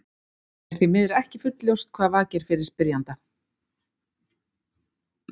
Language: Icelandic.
Hér er því miður ekki fullljóst hvað vakir fyrir spyrjanda.